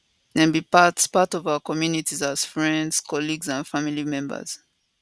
dem be part part of our communities as friends colleagues and family members